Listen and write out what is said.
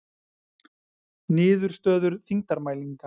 Niðurstöður þyngdarmælinga.